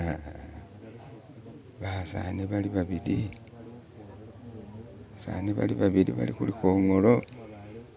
Ah basani bali babili balikhulikhongolo